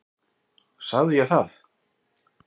Sagði ég það?